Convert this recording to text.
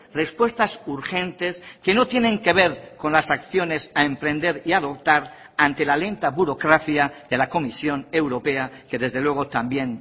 respuestas urgentes que no tienen que ver con las acciones a emprender y adoptar ante la lenta burocracia de la comisión europea que desde luego también